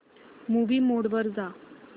movie mode वर जा